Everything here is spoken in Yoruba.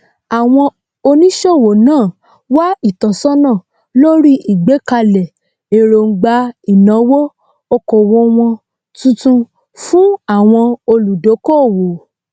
àwọn oníṣòwò náà wá ìtọsọnà lórí ìgbékalẹ èròńgbà ìnàwó okòwò wọn tuntun fun àwọn olùdókòwò